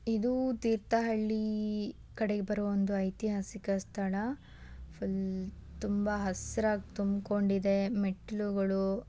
ಇದೂ ತೀರ್ಥಹಳ್ಳಿ ಕಡೆಗೆ ಬರುವ ಒಂದು ಐತಿಹಾಸಿಕ ಸ್ಥಳ ಫುಲ್ ತುಂಬಾ ಹಸಿರಾಗ್ ತುಂಬಿಕೊಂಡಿದೆ ಮೆಟ್ಟಿಲುಗಳು.